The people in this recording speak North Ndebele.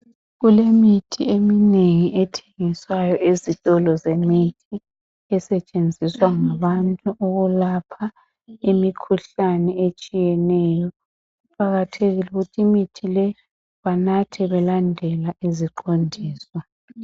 Kulemithi eminengi ethengiswayo ezitolo zemithi esetshenziswa ngabantu ukulapha imikhuhlane etshiyeneyo kuqakathekile ukuthi imithi le banathe belandele iziqondiso.